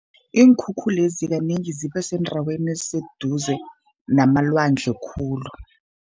Iinkhukhulezi kanengi zibe sendaweni eziseduze namalwandle khulu.